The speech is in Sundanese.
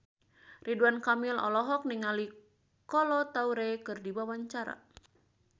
Ridwan Kamil olohok ningali Kolo Taure keur diwawancara